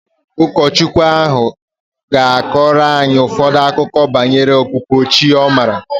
Ụkọchukwu ahu ga-akọrọ anyị ụfọdụ akụkọ okike banyere okpukpere chi ọ maara